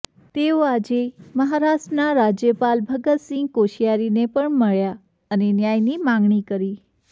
તેઓ આજે મહારાષ્ટ્રના રાજ્યપાલ ભગત સિંહ કોશ્યારીને પણ મળ્યા અને ન્યાયની માગણી કરી